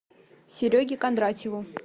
сереге кондратьеву